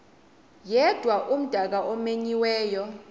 yedwa umdaka omenyiweyo